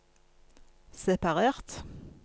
separert